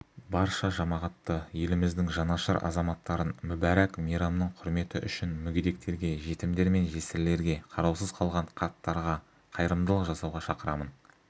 барша жамағатты еліміздің жанашыр азаматтарын мүбәрак мейрамның құрметі үшін мүгедектерге жетімдер мен жесірлерге қараусыз қалған қарттарға қайырымдылық жасауға шақырамын